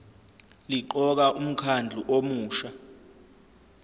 liqoka umkhandlu omusha